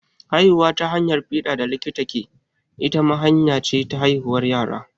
Haihuwa ta hanyar fiɗa da likita ke, ita ma hanya ce ta haihuwar yara.